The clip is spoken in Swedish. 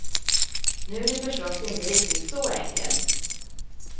Nu är det förstås inte riktigt så enkelt.